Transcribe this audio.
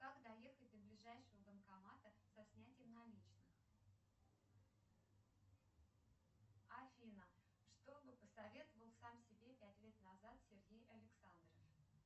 как доехать до ближайшего банкомата со снятием наличных афина что бы посоветовал сам себе пять лет назад сергей александров